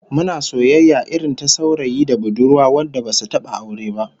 Muna soyayya irin ta saurayi da budurwa wanda basu taba aure ba